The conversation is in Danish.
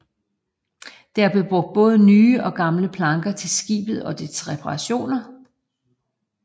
Der var brugt både nye og gamle planker til skibet og dets reparationer